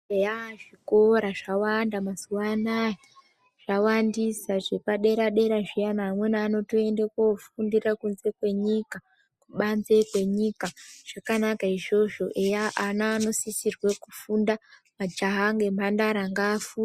Eya zvikora zvawanda mazuva anaya zvawandisa zvepa dera dera zviyana amweni anotoende kofundira kunze kwe nyika kubanze kwenyika zvakanaka izvozvo eya ana anosisirwe kufunda majaha ngemhandara ngaafunde...